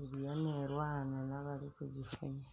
eriyo neerwana n'abarikugifunya